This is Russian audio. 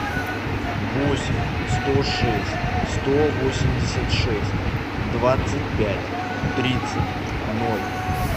восемь сто шесть сто восемьдесят шесть двадцать пять тридцать ноль